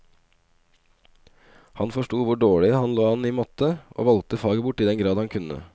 Han forsto hvor dårlig han lå an i matte, og valgte faget bort i den grad han kunne.